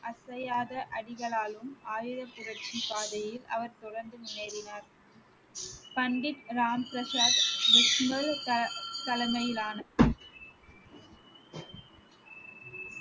அசையாத அடிகளாலும் ஆயுதப் புரட்சி பாதையில் அவர் தொடர்ந்து முன்னேறினார் பண்டிட் ராம் பிரசாத் விஷ்ணு த~ தலைமையிலான